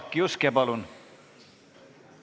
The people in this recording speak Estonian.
Jaak Juske, palun!